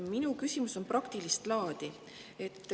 Minu küsimus on praktilist laadi.